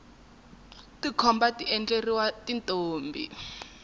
tikhomba ti endleriwa tintombi